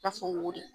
Ta fɔ wo de